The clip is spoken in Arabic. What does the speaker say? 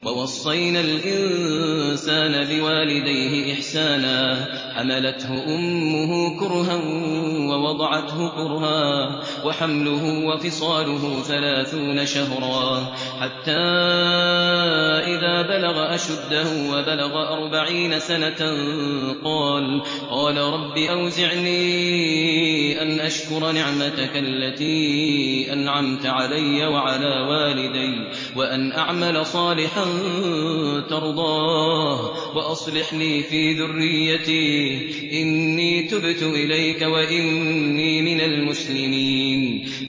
وَوَصَّيْنَا الْإِنسَانَ بِوَالِدَيْهِ إِحْسَانًا ۖ حَمَلَتْهُ أُمُّهُ كُرْهًا وَوَضَعَتْهُ كُرْهًا ۖ وَحَمْلُهُ وَفِصَالُهُ ثَلَاثُونَ شَهْرًا ۚ حَتَّىٰ إِذَا بَلَغَ أَشُدَّهُ وَبَلَغَ أَرْبَعِينَ سَنَةً قَالَ رَبِّ أَوْزِعْنِي أَنْ أَشْكُرَ نِعْمَتَكَ الَّتِي أَنْعَمْتَ عَلَيَّ وَعَلَىٰ وَالِدَيَّ وَأَنْ أَعْمَلَ صَالِحًا تَرْضَاهُ وَأَصْلِحْ لِي فِي ذُرِّيَّتِي ۖ إِنِّي تُبْتُ إِلَيْكَ وَإِنِّي مِنَ الْمُسْلِمِينَ